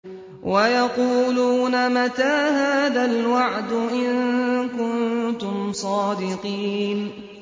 وَيَقُولُونَ مَتَىٰ هَٰذَا الْوَعْدُ إِن كُنتُمْ صَادِقِينَ